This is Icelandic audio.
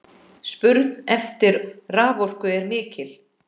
Spurn eftir raforku er mikil.